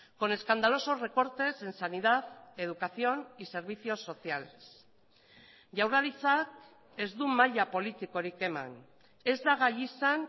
con escandalosos recortes en sanidad educación y servicios sociales jaurlaritzak ez du maila politikorik eman ez da gai izan